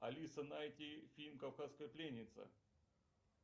алиса найти фильм кавказская пленница